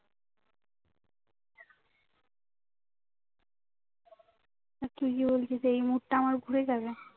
আহ কি বলতে চাও এই মুহূর্তে আমার ঘুরে যাবে